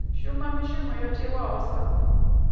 shuma mishumo yo tiwaho sa